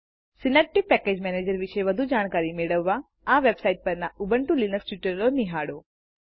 Synaptic package manager વિષે વધુ જાણકારી મેળવવા આ વેબ્સાઈટ પરના ઉબુન્ટુ લીનક્સ ટ્યુટોરીઅલો નિહાળો